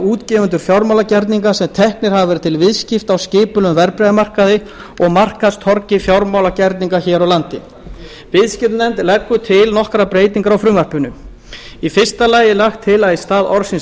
útgefendur fjármálagerninga sem teknir hafa verið til viðskipta á skipulegum verðbréfamarkaði og markaðstorgi fjármálagerninga hér á landi nefndin leggur til nokkrar breytingar á frumvarpinu fyrstu lagt er til að í stað orðsins